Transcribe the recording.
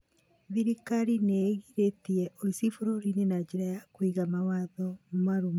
Thirikari nĩ ĩgiritie ũici bũrũriinĩ na njĩra ya Kũiga mawatho marũmu